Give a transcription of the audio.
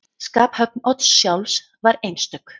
Skaphöfn Odds sjálfs var einstök.